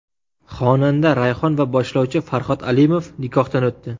Xonanda Rayhon va boshlovchi Farhod Alimov nikohdan o‘tdi .